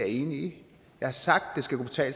i